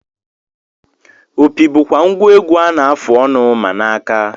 Opi bụkwa ngwa egwu a na-afụ ọnụ ma na aka